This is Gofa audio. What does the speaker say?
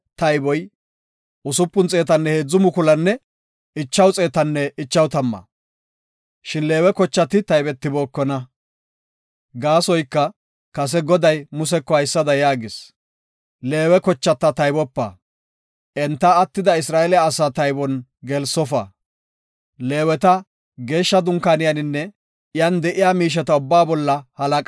Leeweta, Geeshsha Dunkaaniyaninne iyan de7iya miisheta ubbaa bolla halaqa oothada shuuma. Enti Dunkaaniyanne iyan de7iya miisheta tookana; iya giddon oothananne iya yuushon dunkaanana.